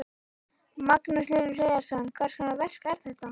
Magnús Hlynur Hreiðarsson: Hvers konar verk er þetta?